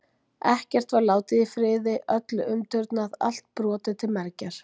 Ekkert var látið í friði, öllu umturnað, allt brotið til mergjar.